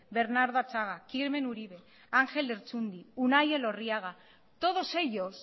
bernardo atxaga kirmen uribe anjel lertxundi unai elorriaga todos ellos